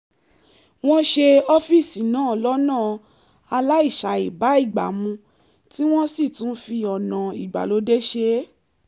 wọ́n ṣe ọ́fíìsì náà lọ́nà aláìṣàìbágbàmu tí wọ́n sì tún fi ọ̀nà ìgbàlódé ṣe é